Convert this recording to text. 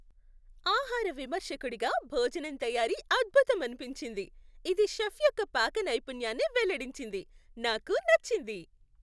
ఆహార విమర్శకుడిగా, భోజనం తయారీ అద్భుతమనిపించింది, ఇది షెఫ్ యొక్క పాక నైపుణ్యాన్ని వెల్లడించింది. నాకు నచ్చింది.